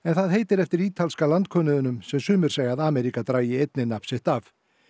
það heitir eftir ítalska sem sumir segja að Ameríka dragi einnig nafn sitt af